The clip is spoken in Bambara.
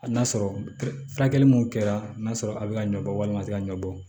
A n'a sɔrɔ furakɛli mun kɛra n'a sɔrɔ a be ka ɲɔ bɔ walima a te ka ɲɔ bɔ